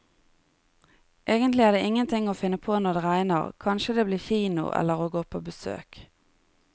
Egentlig er det ingen ting å finne på når det regner, kanskje det blir kino eller å gå på besøk.